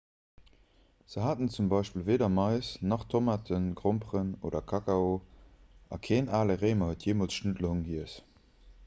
se haten zum beispill weeder mais nach tomaten gromperen oder kakao a keen ale réimer huet jeemools schnuddelhong giess